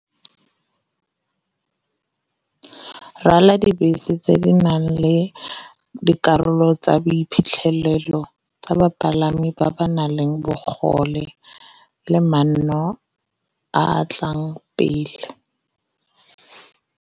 dibese tse di nang le dikarolo tsa boiphitlhelelo tsa bapalami ba ba nang le bogole le manno a a tlang pele.